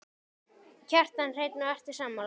Kjartan Hreinn: Og ertu sammála?